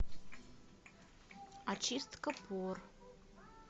очистка пор